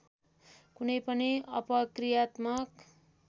कुनै पनि अपकृत्यात्मक